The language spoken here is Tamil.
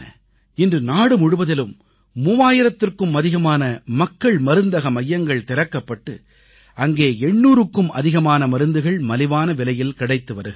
இன்று நாடு முழுவதிலும் 3000த்திற்கும் அதிகமான மக்கள் மருந்தக மையங்கள் திறக்கப்பட்டு அங்கே 800க்கும் அதிகமான மருந்துகள் மலிவான விலையில் கிடைத்து வருகின்றன